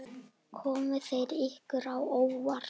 Komu þær ykkur á óvart?